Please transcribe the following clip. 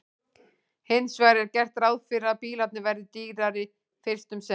Hins vegar er gert ráð fyrir að bílarnir verði dýrari fyrst um sinn.